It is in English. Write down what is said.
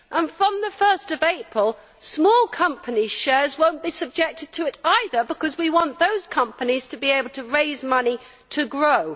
Furthermore, from 1 April small companies' shares will not be subjected to it either, because we want those companies to be able to raise money to grow.